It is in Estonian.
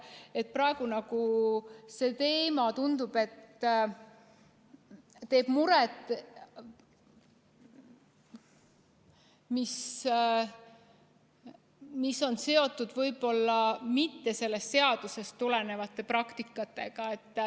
Tundub, et praegu teeb muret just see teema ja see võib-olla ei olegi seotud sellest seadusest tulenevate praktikatega.